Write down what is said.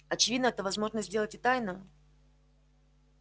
очевидно это возможно сделать и тайно